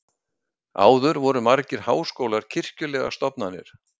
Áður voru margir háskólar kirkjulegar stofnanir.